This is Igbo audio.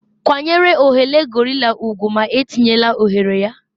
kwanyere oghere gorilla ugwu ma etinyela oghere ya